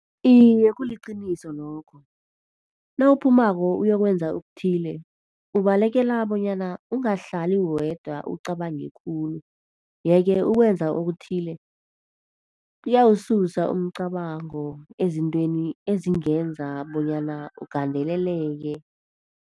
Iye, kuliqiniso lokho. Nawuphumako uyokwenza okuthile, ubalekela bonyana ungahlali wedwa ucabanga khulu. Yeke ukwenza okuthile kuyawususa umcabango ezintweni ezingenza bonyana ugandeleleke.